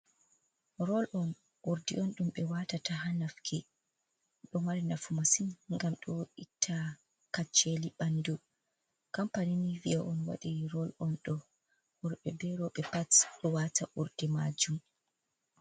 Rol on, urdi on ɗummin watata ha nafki, ɗo mari nafu masin gam ɗo itta kacceli ɓandu, kampani ni via on waɗi rol on ɗo, worɓe be roɓe pat ɗo wata urdi majun.